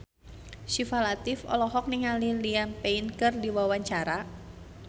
Syifa Latief olohok ningali Liam Payne keur diwawancara